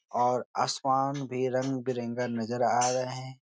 और आसमान भी रंग बिरंगा नजर आ रहे हैं।